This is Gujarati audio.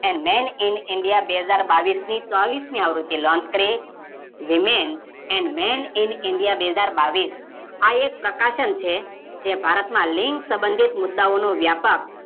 એન Man In India બે હાજર બાવીસની ચોવીસમી આવૃત્તિ લોન્ચ કરી women and men in India બે હાજર બાવીસ આ એક પ્રકાશન છે જે ભારતમાં લિંગ સંબંધિત મુદ્દોઓનો વ્યાપક